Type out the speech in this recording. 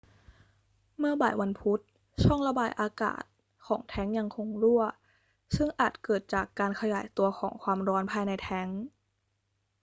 เมื่อบ่ายวันพุธ ช่องระบายอากาศของแทงก์ยังคงรั่ว ซึ่งอาจเกิดจากการขยายตัวของความร้อนภายในแทงก์